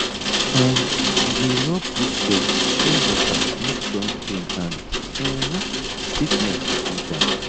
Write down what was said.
um we dey rub goat leg with shea butter make joint pain and um stiffness go down